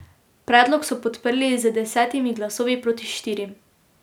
Predlog so podprli z desetimi glasovi proti štirim.